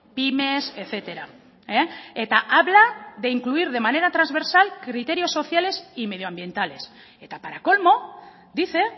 pymes etcétera eta habla de incluir de manera transversal criterios sociales y medioambientales eta para colmo dice